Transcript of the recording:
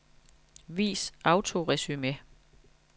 Vis autoresumé.